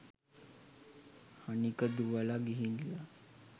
හනික දුවල ගිහිල්ල